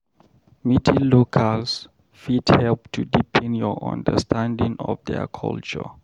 Meeting locals fit help to deepen your understanding of their culture.